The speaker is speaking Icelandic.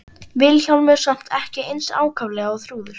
Vilhjálmur samt ekki eins ákaflega og Þrúður.